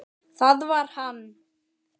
Það var hann!